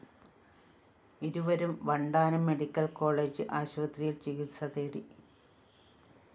ഇരുവരും Vandanam medical college ആശുപത്രിയില്‍ ചികിത്സതേടി